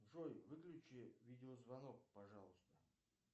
джой выключи видеозвонок пожалуйста